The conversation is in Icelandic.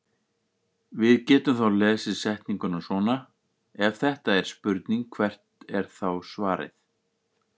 Við getum þá lesið setninguna svona: Ef þetta er spurning hvert er þá svarið?